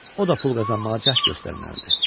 o da pul qazanmağa cəhd göstərməlidir.